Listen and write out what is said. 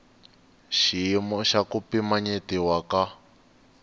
xiyimo xa ku pimanyetiwa ka